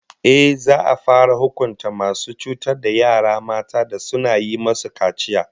Ehh, za'a fara hukunta masu cutar da yara mata da suna yi musu kaciya